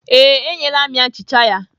Ee, enyela m ya nchicha ya.